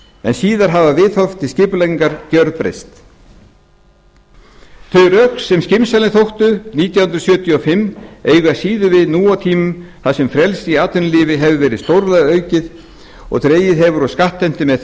en síðan hafa viðhorf til skipulagningar gerbreyst þau rök sem skynsamleg þóttu nítján hundruð sjötíu og fimm eiga síður við nú á tímum þar sem frelsi í atvinnulífi hefur verið stórlega aukið og dregið hefur úr skattheimtu með þeim